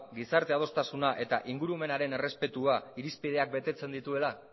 gizarte adostasuna eta ingurumenaren errespetua irizpideak betetzen dituela